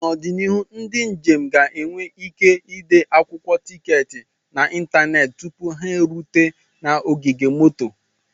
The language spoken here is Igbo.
N'ọdịnihu, ndị njem ga-enwe ike ịde akwụkwọ tiketi n'ịntanetị tupu ha erute na ogige moto.